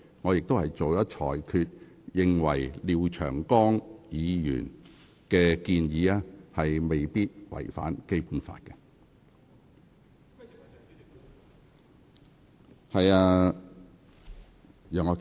我已在裁決中表明，我認為廖長江議員的擬議決議案未必違反《基本法》。